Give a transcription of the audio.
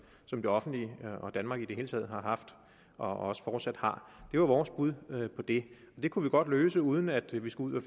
som det offentlige og danmark i det hele taget har haft og også fortsat har det var vores bud på det det kunne vi godt løse uden at vi skulle